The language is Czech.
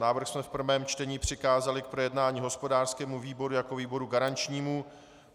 Návrh jsme ve prvém čtení přikázali k projednání hospodářskému výboru jako výboru garančnímu.